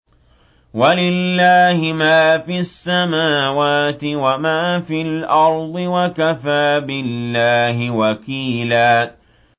وَلِلَّهِ مَا فِي السَّمَاوَاتِ وَمَا فِي الْأَرْضِ ۚ وَكَفَىٰ بِاللَّهِ وَكِيلًا